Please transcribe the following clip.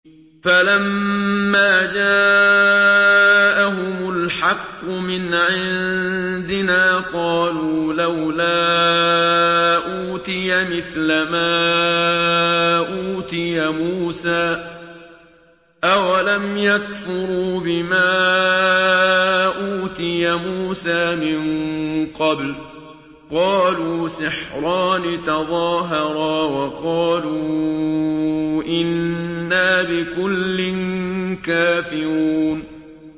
فَلَمَّا جَاءَهُمُ الْحَقُّ مِنْ عِندِنَا قَالُوا لَوْلَا أُوتِيَ مِثْلَ مَا أُوتِيَ مُوسَىٰ ۚ أَوَلَمْ يَكْفُرُوا بِمَا أُوتِيَ مُوسَىٰ مِن قَبْلُ ۖ قَالُوا سِحْرَانِ تَظَاهَرَا وَقَالُوا إِنَّا بِكُلٍّ كَافِرُونَ